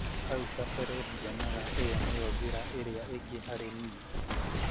haũ kabere ndĩonaga ĩyo nĩyo njĩra ĩrĩa ĩngĩ harĩ nĩe